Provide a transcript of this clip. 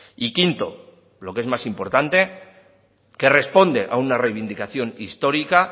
y quinto lo que es más importante que responde a una reivindicación histórica